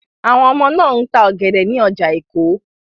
Àwọn ọmọ náà ń ta ọ̀gẹ̀dẹ̀ ní ọjà Èkó.